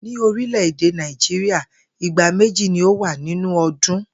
Ní orílè̩-èdè Náíjíríà, ìgbà méjì ni ó wà nínú o̩dún